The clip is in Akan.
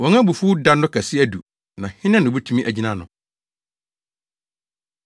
Wɔn abufuw no da kɛse adu, na hena na obetumi agyina ano?”